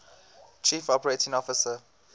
chief operating officer